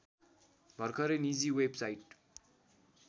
भर्खरै निजी वेबसाइट